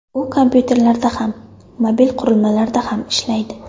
U kompyuterlarda ham, mobil qurilmalarda ham ishlaydi.